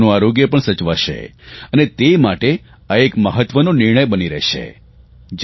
માતાઓનું આરોગ્ય પણ સચવાશે અને એ માટે આ એક મહત્વો નિર્ણય બની રહેશે